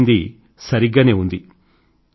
మీరు చెప్పినది సరిగ్గానే ఉంది